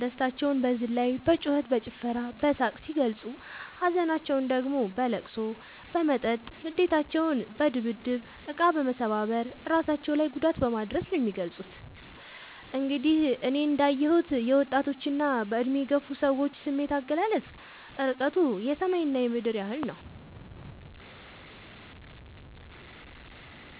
ደስታቸውን በዝላይ በጩከት በጭፈራ በሳቅ ሲገልፁ ሀዘናቸውን ደግሞ በለቅሶ በመጠጥ ንዴታቸውን በድብድብ እቃ መሰባበር እራሳቸው ላይ ጉዳት በማድረስ ነው የሚገልፁት። እንግዲህ እኔ እንዳ የሁት የወጣቶች እና በእድሜ የገፉ ሰዎች ስሜት አገላለፅ እርቀቱ የሰማይ እና የምድር ያህል ነው።